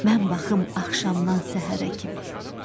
Mən baxım axşamdan səhərə kimi.